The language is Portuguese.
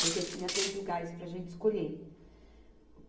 porque tinha três lugares para a gente escolher.